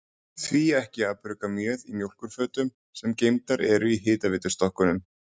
Því ekki að brugga mjöð í mjólkurfötum, sem geymdar eru í hitaveitustokkunum?